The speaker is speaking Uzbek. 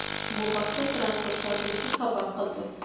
Bu haqda Transport vazirligi xabar qildi .